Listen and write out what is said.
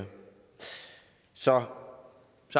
så er der